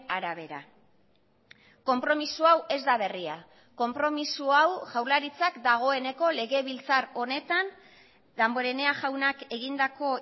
arabera konpromiso hau ez da berria konpromiso hau jaurlaritzak dagoeneko legebiltzar honetan damborenea jaunak egindako